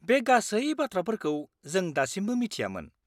-बे गासै बाथ्राफोरखौ जों दासिमबो मिथियामोन।